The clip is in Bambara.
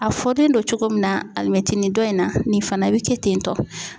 A fɔlen do cogo min na alimɛtinin dɔ in na nin fana bɛ kɛ ten tɔ.